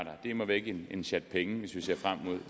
er immer væk en en sjat penge hvis vi ser frem mod